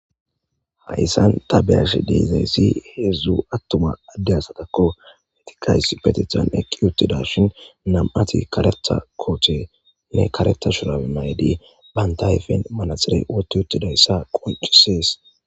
Hayssan tabeyash dizayssi hezdzu attuma adde asatakko hetiqays petethan eqqi yuttida shin nam'ati karetha koothenne kareta shurae maydi bantayfen manaxire wotu uttidayssa qoncisees.